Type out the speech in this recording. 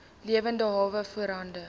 lewende hawe voorhande